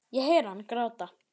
Ég heyri hann gráta.